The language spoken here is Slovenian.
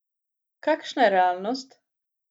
Kakšna je realnost?